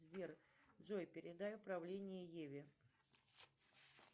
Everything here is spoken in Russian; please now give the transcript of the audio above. сбер джой передай управление еве